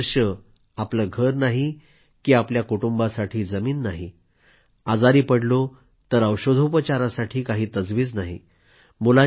23 वर्षे आपलं घर नाही की आपल्या कुटुंबासाठी जमीन नाही आजारी पडलो तर औषधोपचाराची काहीही तजवीज नाही